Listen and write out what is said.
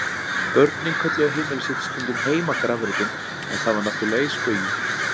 Börnin kölluðu heimili sitt stundum heimagrafreitinn en það var náttúrlega í spaugi.